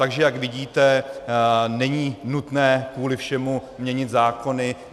Takže jak vidíte, není nutné kvůli všemu měnit zákony.